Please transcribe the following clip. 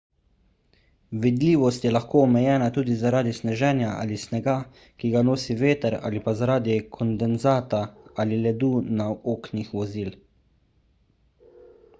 vidljivost je lahko omejena tudi zaradi sneženja ali snega ki ga nosi veter ali pa zaradi kondenzata ali ledu na oknih vozil